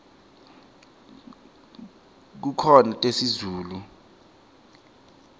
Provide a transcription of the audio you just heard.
kukhona tesizulu